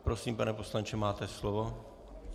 Prosím, pane poslanče, máte slovo.